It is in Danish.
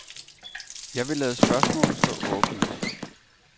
Jeg vil lade spørgsmålet stå åbent.